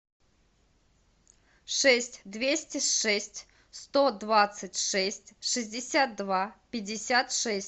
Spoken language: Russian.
шесть двести шесть сто двадцать шесть шестьдесят два пятьдесят шесть